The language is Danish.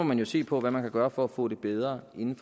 man jo se på hvad man kan gøre for at få det bedre inden